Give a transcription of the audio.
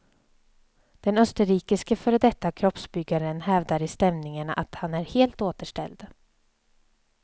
Den österrikiske före detta kroppsbyggaren hävdar i stämningen att han är helt återställd.